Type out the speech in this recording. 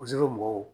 mɔgɔw